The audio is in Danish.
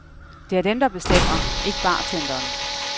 Det er dem, der bestemmer, ikke bartenderen.